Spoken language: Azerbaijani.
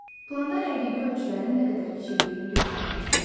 Planda həqiqi ölçülərin nə qədər kiçildiyini göstərmək lazımdır.